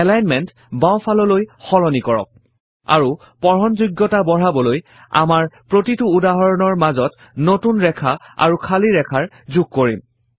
alignment বাওঁফাললৈ সলনি কৰক আৰু পঢ়নযোগয়তা বঢ়াবলৈ আমাৰ প্ৰতিটো উদাহৰণৰ মাজত নতুন ৰেখা আৰু খালী ৰেখা যোগ কৰিম